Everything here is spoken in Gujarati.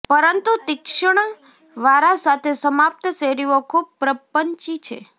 પરંતુ તીક્ષ્ણ વારા સાથે સમાપ્ત શેરીઓ ખૂબ પ્રપંચી છે